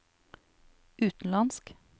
utenlandsk